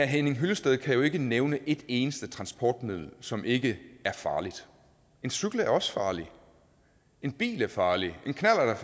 henning hyllested kan jo ikke nævne et eneste transportmiddel som ikke er farligt en cykel er også farlig en bil er farlig en knallert